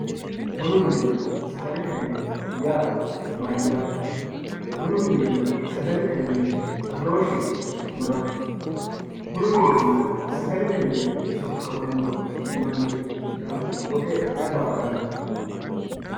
Bunu mininna sagalette mine yaa mayatte, bunu minina sagalete mini badooshisi maati, bunu minenna sagalete mine soqqamanno manira woxe ayi baatanno